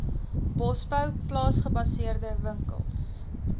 bosbou plaasgebaseerde winkels